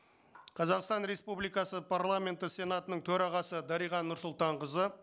қазақстан республикасы парламенті сенатының төрағасы дариға нұрсұлтанқызы